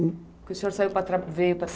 O senhor saiu para, veio trabalhar...